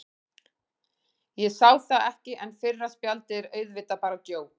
Ég sá það ekki, en fyrra spjaldið er auðvitað bara djók.